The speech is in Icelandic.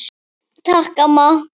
Takk, amma.